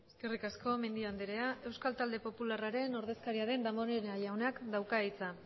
eskerrik asko mendi andrea euskal talde popularraren ordezkaria den damborenea jaunak dauka hitza